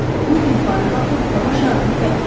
Bulud yuxarı qalxıb hava şarını tərk etdi.